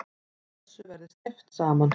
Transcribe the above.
Þessu verði steypt saman.